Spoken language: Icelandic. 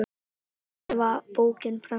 um árið var bókin prenntuð aftur